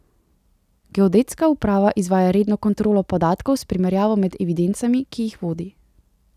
Geodetska uprava izvaja redno kontrolo podatkov s primerjavo med evidencami, ki jih vodi.